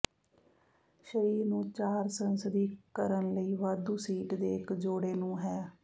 ਸਰੀਰ ਨੂੰ ਚਾਰ ਸੰਸਦੀ ਕਰਨ ਲਈ ਵਾਧੂ ਸੀਟ ਦੇ ਇੱਕ ਜੋੜੇ ਨੂੰ ਹੈ